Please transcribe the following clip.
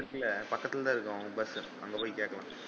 பக்கத்துல தான் இருக்கும் அவன் bus அங்க போய் கேக்கலாம்.